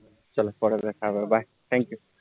চলো পর bye thankyou